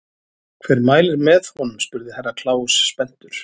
Hver mælir með honum spurði Herra Kláus spenntur.